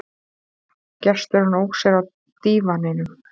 Gesturinn ók sér á dívaninum.